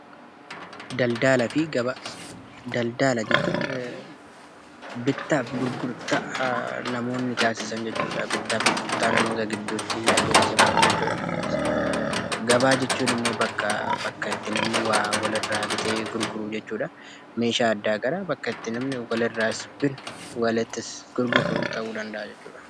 Daldalaafi gabaa. Daldalaa jechuun bitaaf gurgurtaa namoonni tasisaan jechuudha. Bitaaf gurgurtaa namoota giduutti tasifamuu jechuudha. Gabaa jechuun immoo bakka namni waa wal irra bitee gurguruu jechuudha. Meeshaa gara garaa bakka namni wal irra bituu akksumaas gurguruu ta'u danda'a jechuudha.